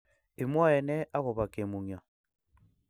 Imwoee nee agoba kemungyo?